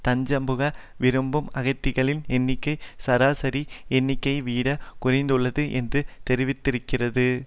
தஞ்சம்புக விரும்பும் அகதிகளின் எண்ணிக்கை சராசரி எண்ணிக்கையைவிட குறைந்துள்ளது என்று தெரிவித்திருக்கிறது